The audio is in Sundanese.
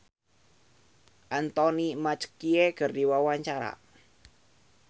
Uya Kuya olohok ningali Anthony Mackie keur diwawancara